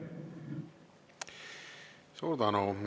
Suur tänu!